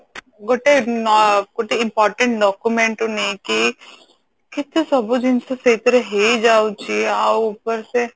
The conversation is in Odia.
ଗୋଟେ ଅ ଗୋଟେ important document ରୁ ନେଇକି କେତେ ସବୁ ଜିନିଷ ସେଇଥିରେ ହେଇଯାଉଛି ଆଉ ଉପର ସେ